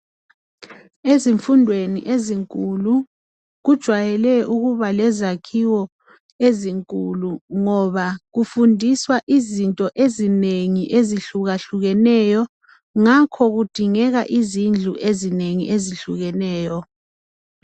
Ezifundweni ezinkulu kujayele ukuba lezakhiwo ezinkulu ngoba kufundiswa izinto ezinengi ezihlukahlukeneyo ngakho kudingeka izindlu ezinengi ezehlukeneyo.